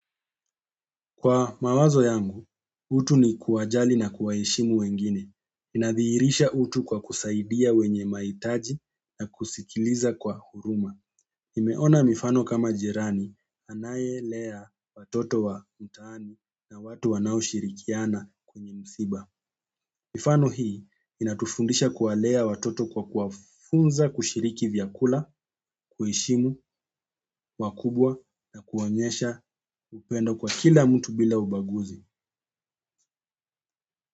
Kwa mawazo yangu, utu ni kuwajali na kuwa heshimu wengine. Inadhiirisha utu kwa kusaidia wenye mahitaji na kusikiliza kwa huruma. Nimeona mifano kama jirani anayelea watoto wa mtaani na watu wanao shirikiana kwenye msiba. Mifano hii inatufundisha kuwalea watoto kwa kuwafunza kushiriki vyakula, kuheshimu, wakubwa na kuwaonyesha upendo kwa kila mtu bila ubaguzi.